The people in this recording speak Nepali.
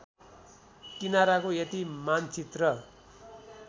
किनाराको यति मानचित्रण